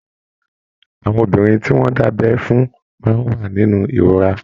Àwọn obìnrin tí wọn da'bẹ fún máa n wà nínú ìrora.